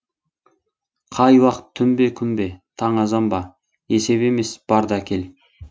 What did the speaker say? қай уақ түн бе күн бе таң азан ба есеп емес бар да әкел